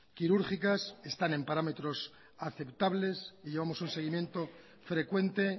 quirúrgicas están en parámetros aceptables y llevamos un seguimiento frecuente